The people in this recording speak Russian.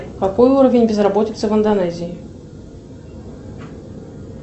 какой уровень безработицы в индонезии